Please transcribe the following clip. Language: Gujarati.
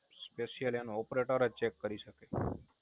Special એનો Operator જ Check કરી શકે